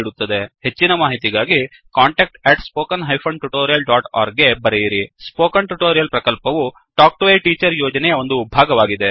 ಹೆಚ್ಚಿನ ಮಾಹಿತಿಗಾಗಿ contactspoken tutorialorg ಗೆ ಬರೆಯಿರಿ ಸ್ಪೋಕನ್ ಟ್ಯುಟೋರಿಯಲ್ ಪ್ರಕಲ್ಪವು ಟಾಕ್ ಟು ಎ ಟೀಚರ್ ಯೋಜನೆಯ ಒಂದು ಭಾಗವಾಗಿದೆ